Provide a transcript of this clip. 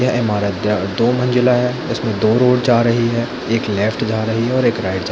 यह ईमारत दय दो मंजिला है इसमे दो रोड जा रही है एक लेफ्ट जा रही है एक राइट जा रही है।